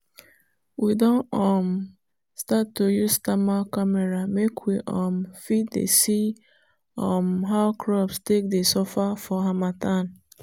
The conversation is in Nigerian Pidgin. we don um start to use thermal camera make we um fit dey see um how crops dey suffer for harmattan.